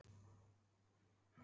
Líklega er hann með hita.